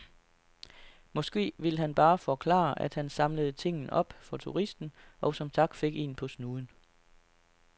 Måske vil han bare forklare, at han samlede tingen op for turisten, og som tak fik en på snuden.